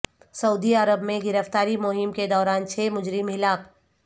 سعودی عرب میں گرفتاری مہم کے دوران چھ مجرم ہلاک